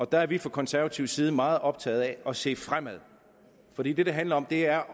der er vi fra konservatives side meget optaget af at se fremad for det det handler om er